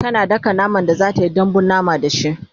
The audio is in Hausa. tana daka naman da zatayi dambun mama da shi